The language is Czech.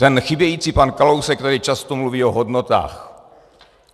Ten chybějící pan Kalousek tady často mluví o hodnotách.